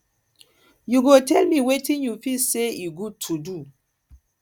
you go tell me wetin you feel say e good to do